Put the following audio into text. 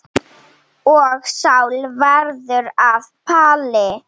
Og Sál varð að Páli.